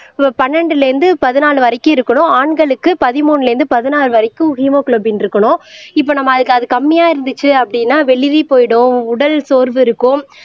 பன்னெண்டுல இருந்து பதினாலு வரைக்கும் இருக்கணும் ஆண்களுக்கு பதிமூணுல இருந்து பதினாலு வரைக்கும் ஹீமோகுளோபின் இருக்கணும் இப்ப நம்ம அதுக்கு அது கம்மியா இருந்துச்சு அப்படின்னா வெளிரி போயிடும் உடல் சோர்வு இருக்கும்